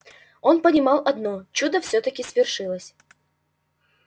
он понимал одно чудо всё-таки свершилось